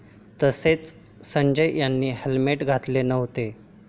तसेच संजय याने हेल्मेट घातले नव्हते.